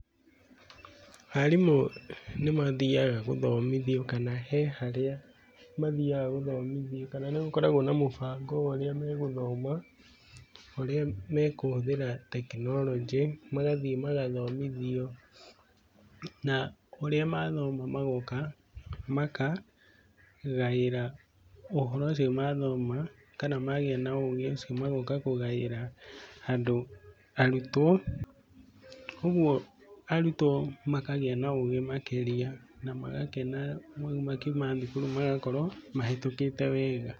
Arimũ nĩ mathiaga gũthomithio kana he harĩa mathiaga gũthomithio kana nĩ gũkoragwo na mũbango wa ũrĩa megũthoma, ũrĩa mekũhũthĩra tekinoronjĩ, magathiĩ magathomithio, na ũrĩa mathoma magoka, makagaĩra ũhoro ũcio mathoma kana magĩa na ũũgĩ ũcio magoka kũgaĩra andũ, arutwo, ũguo arutwo makagĩa na ũũgĩ makĩrĩa na magakena ũguo makiuma thukuru magakorwo mahĩtũkĩte wega.